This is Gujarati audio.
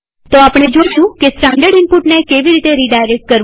તો આપણે જોયું કે સ્ટાનડર્ડ ઈનપુટને કેવી રીતે રીડાયરેક્ટ કરવું